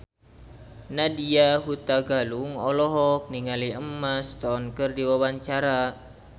Nadya Hutagalung olohok ningali Emma Stone keur diwawancara